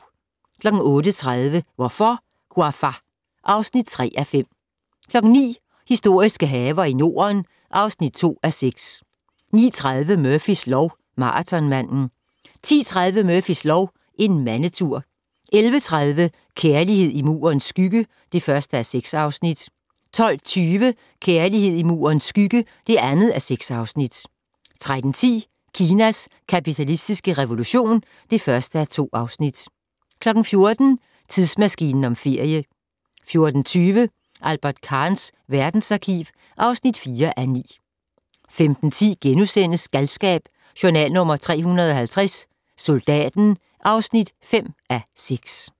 08:30: Hvorfor, Ouafa? (3:5) 09:00: Historiske haver i Norden (2:6) 09:30: Murphys lov: Maratonmanden 10:30: Murphys lov: En mandetur 11:30: Kærlighed i Murens skygge (1:6) 12:20: Kærlighed i Murens skygge (2:6) 13:10: Kinas kapitalistiske revolution (1:2) 14:00: Tidsmaskinen om ferie 14:20: Albert Kahns verdensarkiv (4:9) 15:10: Galskab: Journal nr.350 - Soldaten (5:6)*